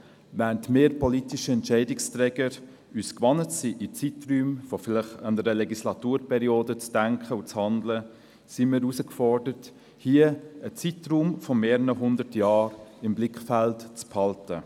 Während wir politischen Entscheidungsträger uns gewohnt sind, in Zeiträumen von vielleicht einer Legislaturperiode zu denken und zu handeln, sind wir hier herausgefordert, einen Zeitraum von mehreren hundert Jahren im Blick zu behalten.